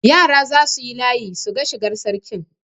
Yara za su yi layi su ga shigar Sarkin.